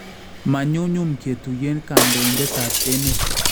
Ma nyumnyum ketuyeen kandoindetab emet